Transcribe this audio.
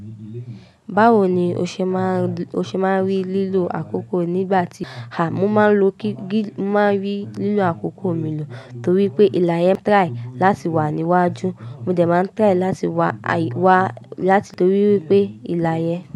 Báwo ni o ṣe máa n rí lílo àkókò nígbà tí À, mo máa rí lílo àkókò mi lò torí pé ìlà yẹn try láti wà níwájú. Mo dẹ̀ máa n try láti wà láti torí pé ìlà yẹn.